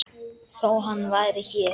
Þó hann væri hér.